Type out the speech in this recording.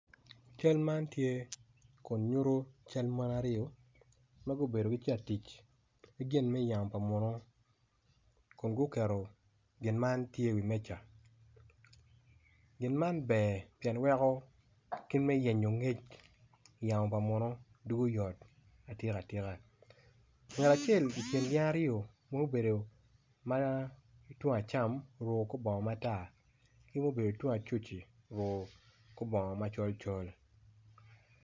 Cal man tye kun nyuto cal mon aryo ma gubedo gitye ka tic ki gin me yamo pa munu kun guketo gin man tye iwi meja gin man ber pien weko kit me yenyp ngec i yamo pa munu dugo yot atika tika ngat acel i kin gin aryo ma obedo ma ki tung acam oruko kor bongo matar ki ma obedo tung acuc-ci oruko kor bongo macol col.